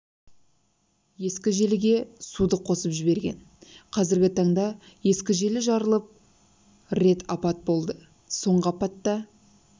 ескі желіге суды қосып жіберген қазіргі таңда ескі желі жарылып рет апат болды соңғы апатта